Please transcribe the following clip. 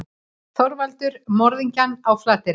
ÞORVALDUR: Morðingjann á Flateyri.